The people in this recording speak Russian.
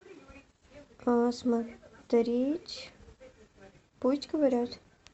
посмотреть пусть говорят